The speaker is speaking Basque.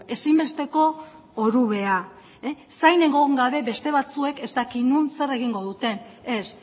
ezinbesteko orubea zain egon gabe beste batzuek ez dakit non zer egingo duten ez